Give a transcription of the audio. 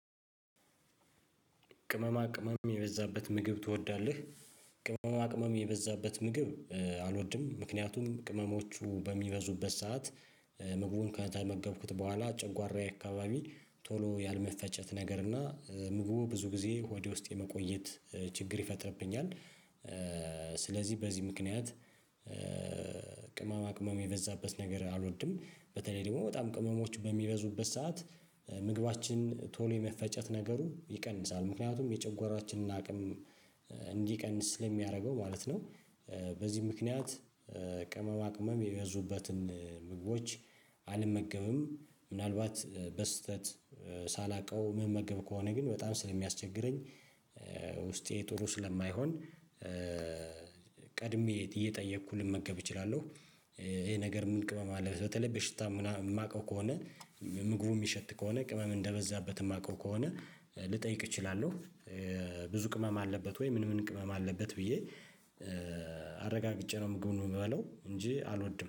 ቅመማ ቅመም የበዛበት ምግብ ትወዳለህ? ቅመማ ቅመም የበዛበት ምግብ አልወድም ምክንያቱም ቅመሞቹ በሚበዙበት ሰዓት ምግቡን ከተመገብኩት በኋላ ጨጓራዬ አካባቢ ቶሎ ያልመፈጨት ነገር እና ምግቡ ብዙ ጊዜ ሆዴ ውስጥ የመቆየት ችግር ይፈጥርብኛል። ስለዚህ በዚህ ምክንያት ቅማማ ቅማም የበዛበት ነገር አልወድም። በተለይ ደግሞ በጣም ቅመሞች በሚበዙበት ሰዓት ምግባችን ቶሎ የመፈጨት ነገሩ ይቀንሳል ምክንያቱም የጨጓራችንን አቅም እንዲቀንስ ስለ ሚያደርገው ማለት ነው። በዚህ ምክንያት ቅመማ ቅመም የበዙበትን ምግቦች አልመገብም። ምናልባት በስህተት ሳላውቀው መመገብ ከሆነ ግን በጣም ስለሚያስቸግረኝ ውስጤ ጥሩ ስለማይሆን። ቀድሜ እየጠየኩ ልመገብ እችላለሁ። ይሄ ነገር ምን ቅመም አለው በተለይ በሽታ ማውቀው ከሆነ ምግቡ ሚሸት ከሆነ ቅመም እንደበዛበት ማውቀው ከሆነ ልጠይቅ እችላለሁ። ብዙ ቅመም አለበት ወይ? ምን ምን ቅመም አለበት ብዬ አረጋግጬ ነው ምግብ ምበላው እንጂ አልወድም